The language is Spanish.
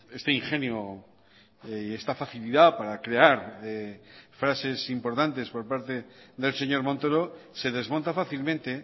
este ingenio y esta facilidad para crear frases importantes por parte del señor montoro se desmonta fácilmente